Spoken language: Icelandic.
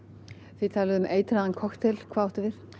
þið talið um eitraðan kokteil hvað áttu við